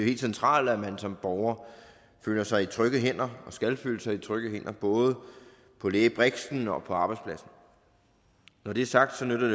helt centralt at man som borger føler sig i trygge hænder og skal føle sig i trygge hænder både på lægebriksen og på arbejdspladsen når det er sagt nytter